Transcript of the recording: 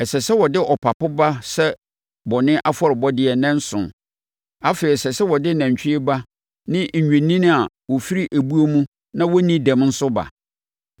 “Ɛsɛ sɛ wode ɔpapo ba sɛ bɔne afɔrebɔdeɛ nnanson. Afei ɛsɛ sɛ wode nantwie ba ne nnwennini a wɔfiri ebuo mu na wɔnni dɛm nso ba.